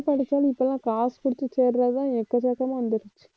அப்படியே படிச்சாலும் இப்பதான் காசு கொடுத்து சேர்றதுதான் எக்கச்சக்கமா வந்துருச்சி